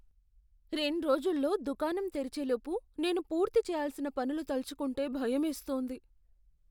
రెండ్రోజుల్లో దుకాణం తెరిచే లోపు నేను పూర్తి చేయాల్సిన పనులు తలచుకుంటే భయమేస్తోంది.